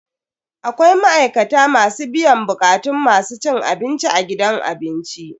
Akwai ma'aikata masu biyan bukatun masu cin abinci a gidan abinci.